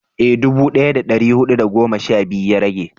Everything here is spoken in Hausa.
eh dubu daya da dari hudu da goma sha biyu ya rage